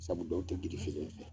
Sabu dɔw tɛ girifelen fɛ.